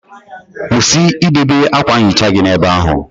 Kwụsị idowe akwa nhicha gị ebe ahụ!